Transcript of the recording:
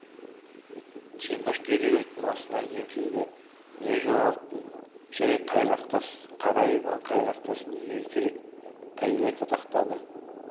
темір кереуеттің астына еңкейді не жоғалттың жәй қайрақ тас қара иван қайрақтас неге керек әйелі тақақтады